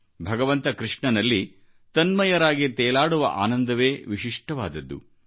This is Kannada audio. ಭಗವಂತ ಕೃಷ್ಣನಲ್ಲಿ ತನ್ಮಯರಾಗಿ ತೇಲಾಡುವ ಆನಂದವೇ ವಿಶಿಷ್ಟವಾದದ್ದು